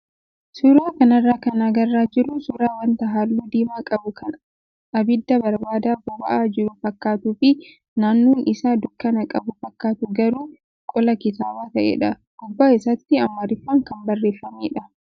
Suuraa kanarraa kan argaa jirru suuraa wanta halluu diimaa qabu kan abidda barbada boba'aa jiru fakkaatuu fi naannoon isaa dukkana qabu fakkaatu garuu qola kitaabaa ta'edha. Gubbaa isaatti amaariffaan kan barreeffamedha.